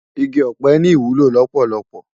Igi òpè ni iwúló lópólópó